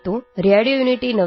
M एकभारतं श्रेष्ठभारतम् |